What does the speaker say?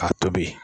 K'a tobi